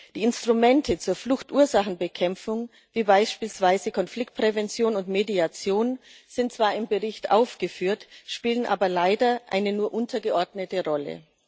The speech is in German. Die Instrumente zur Fluchtursachenbekämpfung wie beispielsweise Konfliktprävention und Mediation sind zwar im Bericht aufgeführt, spielen aber leider eine nur untergeordnete Rolle.